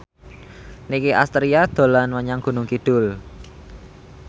Nicky Astria dolan menyang Gunung Kidul